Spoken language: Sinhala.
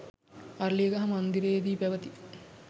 අරලියගහ මන්දිරයේදී පැවති